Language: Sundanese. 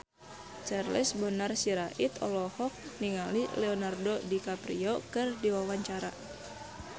Charles Bonar Sirait olohok ningali Leonardo DiCaprio keur diwawancara